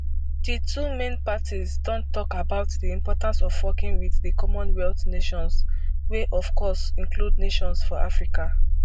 di two main parties don tok about di importance of working wit di commonwealth nations wey of course include nations for africa